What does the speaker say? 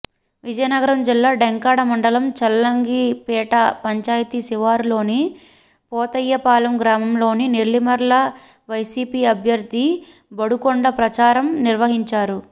విజయనగరం జిల్లా డెంకాడ మండలం చల్లంగిపేట పంచాయతీ శివారులోని పోతయ్యపాలెం గ్రామంలో నెల్లిమర్ల వైసీపీ అభ్యర్థి బడుకొండ ప్రచారం నిర్వహించారు